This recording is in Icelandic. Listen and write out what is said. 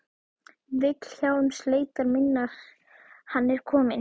Vilhjálms leitar minnar Hann er kominn.